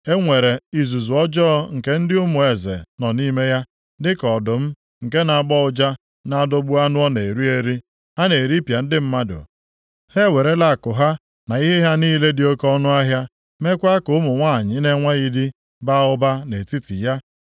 E nwere izuzu ọjọọ nke ndị ụmụ eze + 22:25 Ụmụ eze nʼebe pụtara ndị amụma nọ nʼime ya, dịka ọdụm nke na-agbọ ụja na-adọgbu anụ ọ na-eri eri, ha na-eripịa ndị mmadụ. Ha ewerela akụ ha na ihe ha niile dị oke ọnụahịa, mekwa ka ụmụ nwanyị na-enweghị di baa ụba nʼetiti ya.